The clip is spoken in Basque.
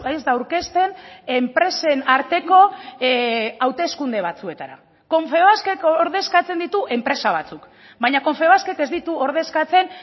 ez da aurkezten enpresen arteko hauteskunde batzuetara confebaskek ordezkatzen ditu enpresa batzuk baina confebaskek ez ditu ordezkatzen